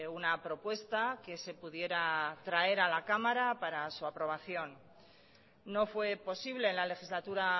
una propuesta que se pudiera traer a la cámara para su aprobación no fue posible en la legislatura